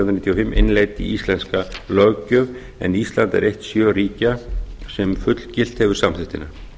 og fimm innleidd í íslenska löggjöf en ísland er eitt sjö ríkja sem fullgilt hefur samþykktina